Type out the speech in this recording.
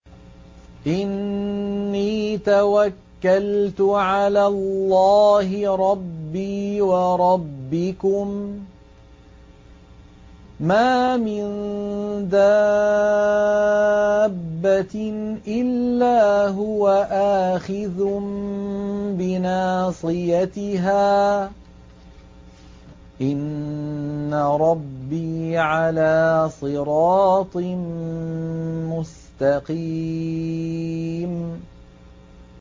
إِنِّي تَوَكَّلْتُ عَلَى اللَّهِ رَبِّي وَرَبِّكُم ۚ مَّا مِن دَابَّةٍ إِلَّا هُوَ آخِذٌ بِنَاصِيَتِهَا ۚ إِنَّ رَبِّي عَلَىٰ صِرَاطٍ مُّسْتَقِيمٍ